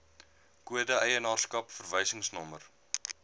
kode eienaarskap verwysingsnommer